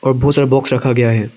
और बहोत सारा बॉक्स रखा गया है।